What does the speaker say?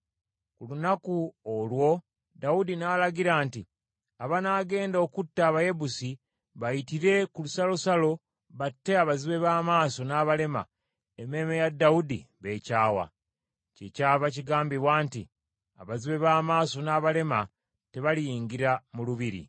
Ku lunaku olwo Dawudi n’alagira nti, “Abanaagenda okutta Abayebusi, bayitire ku lusalosalo batte abazibe b’amaaso n’abalema, emmeeme ya Dawudi b’ekyawa.” Kyekyava kigambibwa nti, “Abazibe b’amaaso n’abalema tebaliyingira mu lubiri.”